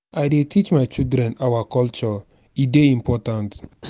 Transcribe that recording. i dey teach my children our culture e dey important.